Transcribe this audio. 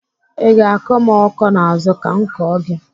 I ga-akọ m ọkọ n'azụ ka m kọọ gị?